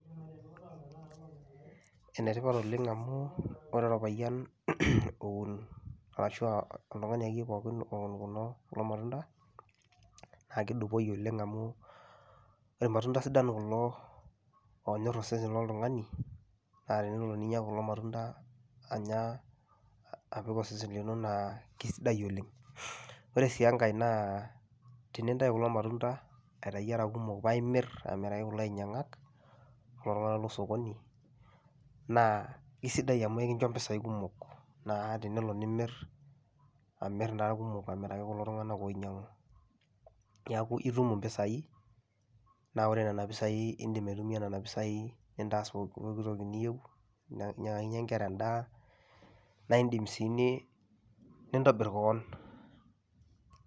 Ene tipat oleng' amu wore orpayian oun arashu oltungani akeyie pookin oun kulo matunda, naa kedupoi oleng' amu ilmatunda sidan kulo onyorr osesen loltungani naa tenelo ninya kulo matunda anya apik osesen lino naa kaisidai oleng'. Wore sii enkae naa tenintayu kulo matunda aitayu era kumok paa imirr amiraki kulo ainyiangak kulo tunganak losokoni, naa aisidai amu ekincho impisai kumok naah tenelo nimir, amirr naa ilkumok amiraki kulo tunganak oinyiangu neeku itum impisai naa wore niana pisai iindim aitumia niana pisai nintaas pookin toki niyieu ninyiangakinyie inkera endaa, naa indim sii nintobirr kewon